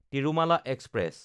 Tirumala express